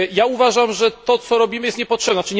Uważam, że to, co robimy jest niepotrzebne.